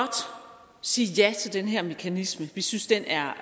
sige ja til den her mekanisme vi synes den er